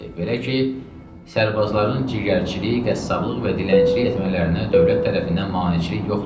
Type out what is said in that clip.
Belə ki, sərbazların ciyərçilik, qəssablıq və dilənçilik etmələrinə dövlət tərəfindən maneçilik yoxdur.